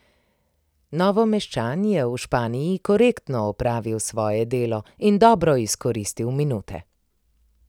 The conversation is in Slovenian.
Novomeščan je v Španiji korektno opravil svoje delo in dobro izkoristil minute.